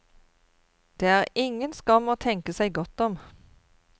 Det er ingen skam å tenke seg godt om.